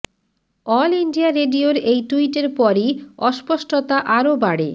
all India রেডিওর এই টুইটের পরই অস্পষ্টতা আরও বাড়ে